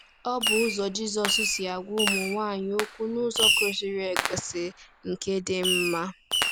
Ọ bụ ụzọ Jizọs si agwa ụmụ nwaanyị okwu n’ụzọ kwesịrị ekwesị, nke dị mma. ”